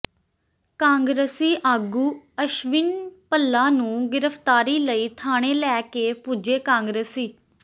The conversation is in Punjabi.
ਕਾਂਗਰਸੀ ਆਗੂ ਅਸ਼ਵਿਨ ਭੱਲਾ ਨੂੰ ਗ੍ਰਿਫ਼ਤਾਰੀ ਲਈ ਥਾਣੇ ਲੈ ਕੇ ਪੁੱਜੇ ਕਾਂਗਰਸੀ